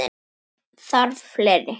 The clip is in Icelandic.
Þarf fleiri?